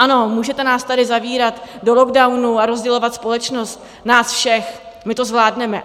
Ano, můžete nás tady zavírat do lockdownů a rozdělovat společnost nás všech, my to zvládneme.